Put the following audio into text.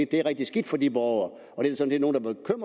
det er rigtig skidt for de borgere